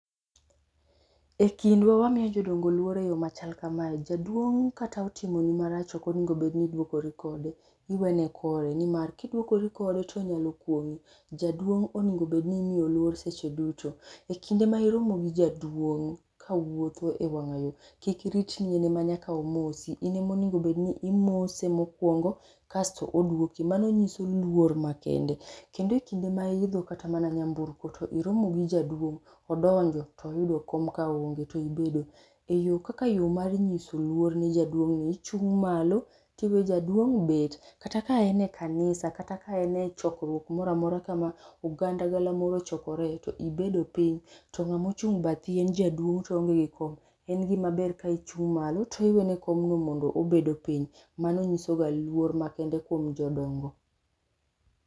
Ekindwa wamiyo jodongo luor eyo machal kamae, jaduong' kata otimoni marach ok onego bed ni iduokori kode. Iwene kore nimar kiduokori kode to onyalo kuong'i. Jaduong' onego bed nimiyo luor seche duto. Ekinde ma iromo gi jaduong' kawuotho ewang'ayo, kik irit ni en ema nyaka omosi, in ema onego bed ni imose mokuongo kasto oduoki mano nyiso luor makende. Kendo ekinde ma iidho kata mana nyamburko to iromo gi jaduong', odonjo to oyudo kom kaonge, tibedo, kaka yo mar nyiso luor ni jaduong'ni, ichung' malo to iwe jaduong' bet, kata ka en e kanisa kata ka en e chokruok moro amora ma oganda galamoro ochokoree to ibedo piny to ng'ama ochung' bathi en jaduong' to oonge gi kom, en gima ber ka ichung' malo to iweyone komno mondo obedo piny. Mano nyisoga luor makende kuom jodongo.